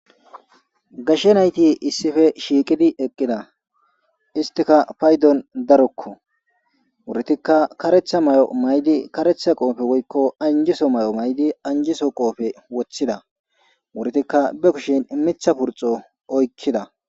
Gashshe nayti issife shiiqidi eqqida istika paydon darokko wurtikka karetha mayo maydi karetha qoofe woyiko anjiso mayo maydi anjiso qoofe wothida wurtikka be kushin imitha purxo oykkida